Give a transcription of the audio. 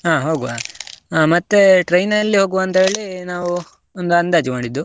ಅಹ್ ಹೋಗ್ವಾ, ಮತ್ತೆ train ಅಲ್ಲಿ ಹೋಗ್ವಾ ಅಂತ ಹೇಳಿ ನಾವು ಒಂದು ಅಂದಾಜ್ ಮಾಡಿದ್ದು.